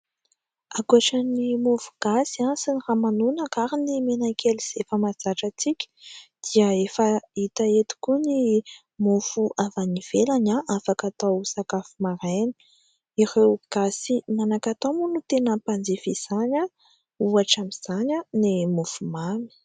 Ankoatra ny mofo gasy sy ny ramanonaka ary ny menakely izay efa mahazatra antsika dia efa hita eto koa ny mofo avy any ivelany afaka atao sakafo maraina, ireo gasy manan-katao moa no tena mpanjifa izany ohatra amin'izany ny mofo mamy.